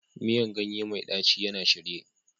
Miyan ganye mai ɗaci yana shirye